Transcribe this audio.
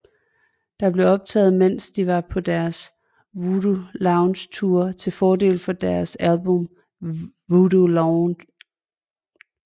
Det blev optaget mens de var på deres Voodoo Lounge Tour til fordel for deres album Voodoo Lounge